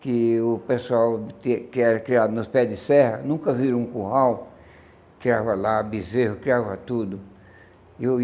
que o pessoal que era criado nos pés de serra nunca viram um curral, criava lá bezerro, criava tudo. Eu